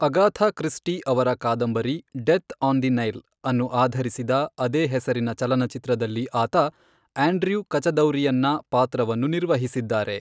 ಅಗಾಥಾ Christie ಅವರ ಕಾದಂಬರಿ death on the Nile ಅನ್ನು ಆಧರಿಸಿದ ಅದೇ ಹೆಸರಿನ ಚಲನಚಿತ್ರದಲ್ಲಿ ಆತ ಆಂಡ್ರ್ಯೂ ಕಚದೌರಿಯನ್ನ ಪಾತ್ರವನ್ನು ನಿರ್ವಹಿಸಿದ್ದಾರೆ.